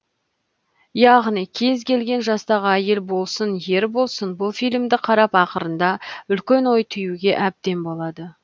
яғни кез келген жастағы әйел болсын ер болсын бұл фильмді қарап ақырында үлкен ой түюіне әбден болады